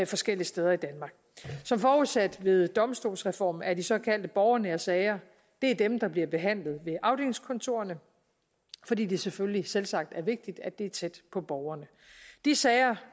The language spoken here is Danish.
forskellige steder i danmark som forudsat ved domstolsreformen er de såkaldte borgernære sager dem der bliver behandlet ved afdelingskontorerne fordi det selvfølgelig selvsagt er vigtigt at det er tæt på borgerne de sager